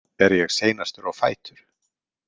Er ég seinastur á fætur?